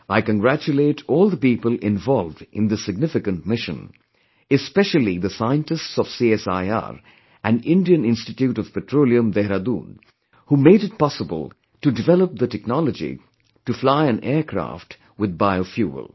I congratulate all the people involved in this significant mission, especially the scientists of CSIR and Indian Institute of Petroleum, Dehradun, who made it possible to develop the technology to fly an aircraft with biofuel